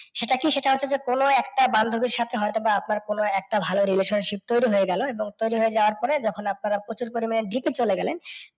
সেটা কি, সেটা হচ্ছে যে কোনও একটা বান্ধবীর সাথে হয়তো বা আপনার কোনও একটা ভালো relationship তৈরি হয়ে গেল, তৈরি হয়ে যাওয়ার পরে যখন আপনারা প্রচুর পরিমাণে date এ চলে গেলেন,